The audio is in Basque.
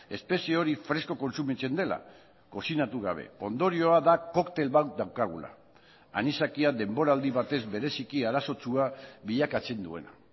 espezie hori fresko kontsumitzen dela kozinatu gabe ondorioa da koktel bat daukagula anisakia denboraldi batez bereziki arazotsua bilakatzen duena